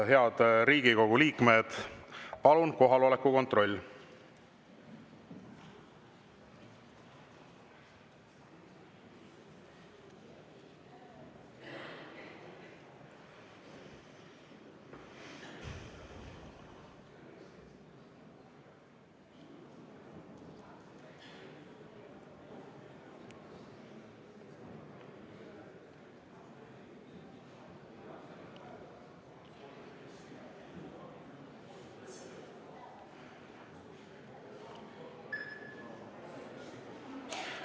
Head Riigikogu liikmed, palun kohaloleku kontroll!